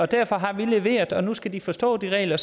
derfor har vi leveret og nu skal de forstå de regler